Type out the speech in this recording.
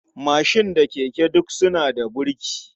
Mashin da keke duk suna da burki.